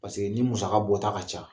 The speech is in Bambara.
Paseke ni musaka bɔ ta ka ca